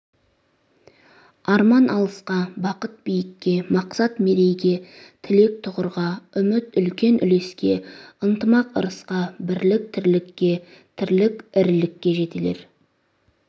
арман алысқа бақыт биікке мақсат мерейге тілек тұғырға үміт үлкен үлеске ынтымақ ырысқа бірлік тірлікке тірлік ірілікке жетелер